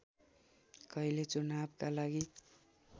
कहिले चुनावका लागि